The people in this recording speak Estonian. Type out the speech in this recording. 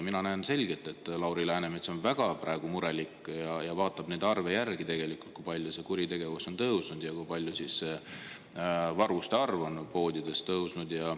Mina näen selgelt, et Lauri Läänemets on praegu väga murelik ja vaatab neid arve, kui palju kuritegevus on tõusnud ja kui palju varguste arv poodides on tõusnud.